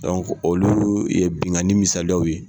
olu ye bingani misaliyaw ye.